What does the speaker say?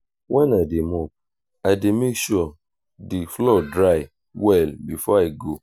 wen i dey mop i dey make sure the floor dry well before i go